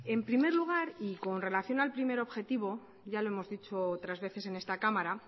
en primer lugar y con relación al primer objetivo ya lo hemos dicho otras veces en esta cámara